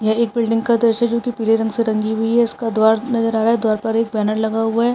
ये एक बिल्डिंग का दृश्य है जो पिले रंग से रंगी हुई है इसका दवार नज़रआ रहा है द्वार पर एक बैनर लगा हुआ है।